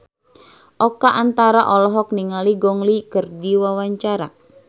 Oka Antara olohok ningali Gong Li keur diwawancara